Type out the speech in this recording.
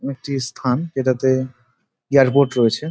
একটি স্থান যেটাতে এয়ার পোর্ট রয়েছে।